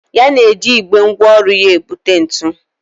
Ya na-eji igbe ngwá ọrụ na-ebu ntu.